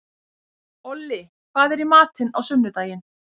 Olli, hvað er í matinn á sunnudaginn?